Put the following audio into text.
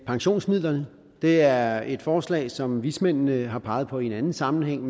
pensionsmidlerne det er et forslag som vismændene har peget på i en anden sammenhæng